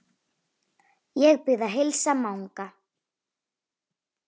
Ég bið að heilsa Manga!